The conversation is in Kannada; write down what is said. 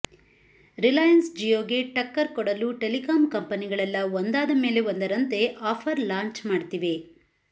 ರಿಲಾಯನ್ಸ್ ಜಿಯೋಗೆ ಟಕ್ಕರ್ ಕೊಡಲು ಟೆಲಿಕಾಂ ಕಂಪನಿಗಳೆಲ್ಲ ಒಂದಾದ ಮೇಲೆ ಒಂದರಂತೆ ಆಫರ್ ಲಾಂಚ್ ಮಾಡ್ತಿವೆ